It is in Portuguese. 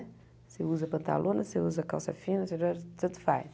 Você usa pantalona, você usa calça fina, você usa tanto faz.